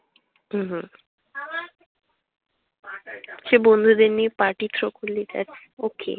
উ হু সেই বন্ধুদের নিয়ে party through করলি, just okay ।